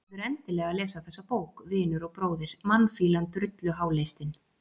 Þú verður endilega að lesa þessa bók, vinur og bróðir, mannfýlan, drulluháleistinn